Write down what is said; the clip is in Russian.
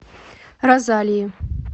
розалии